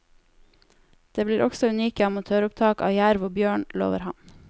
Det blir også unike amatøropptak av jerv og bjørn, lover han.